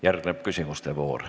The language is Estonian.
Järgneb küsimuste voor.